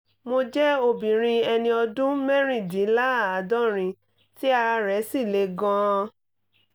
mo jẹ́ obìnrin ẹni ọdún mẹ́rìndínláàádọ́rin tí ara rẹ̀ sì le gan - an